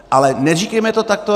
Ale neříkejme to takto.